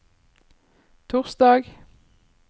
torsdag